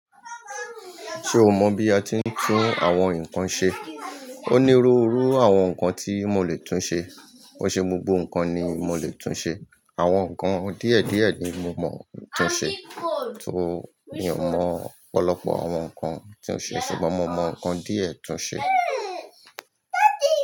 Ṣe o mọ bí a ti ń tún àwọn nkan ṣe? O ní ru irú àwọn nkan ti mo lè tún ṣe, ko i ṣe gbogbo nkan ni mo lè tún ṣe. Àwọn nkan díẹ̀ díẹ̀ ni mo mọ tún ṣe, so mi ò mọ ọ̀pọ̀lọpọ̀ àwọn nkan tí ó ṣe, ṣùgbọ́n mo mọ nkan díẹ̀ tún ṣe.